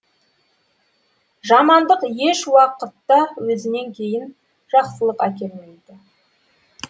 жамандық ешуақытта өзінен кейін жақсылық әкелмейді